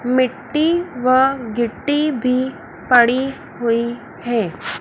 मिट्टी व गिट्टी भी पड़ी हुई है।